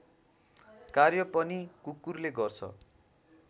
कार्य पनि कुकुरले गर्छ